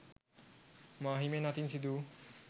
මාහිමියන් අතින් සිදුවූ